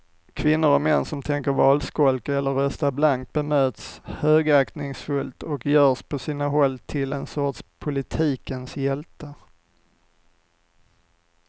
Kvinnor och män som tänker valskolka eller rösta blankt bemöts högaktningsfullt och görs på sina håll till en sorts politikens hjältar.